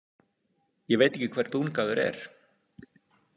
Ég veit ekki hver Dungaður er.